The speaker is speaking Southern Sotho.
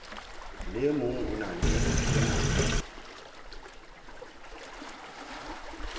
le e mong o na